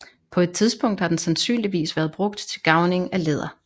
På et tidspunkt har den sandsynligvis været brugt til garvning af læder